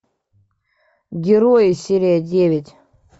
герои серия девять